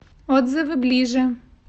отзывы ближе